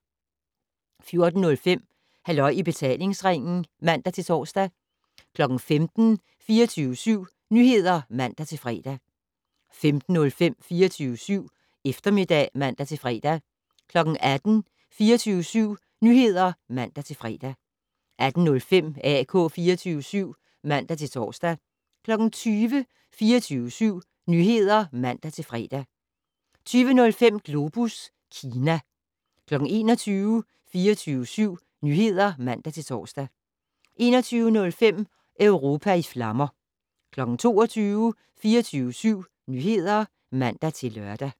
14:05: Halløj i betalingsringen (man-tor) 15:00: 24syv Nyheder (man-fre) 15:05: 24syv Eftermiddag (man-fre) 18:00: 24syv Nyheder (man-fre) 18:05: AK 24syv (man-tor) 20:00: 24syv Nyheder (man-fre) 20:05: Globus Kina 21:00: 24syv Nyheder (man-tor) 21:05: Europa i flammer 22:00: 24syv Nyheder (man-lør)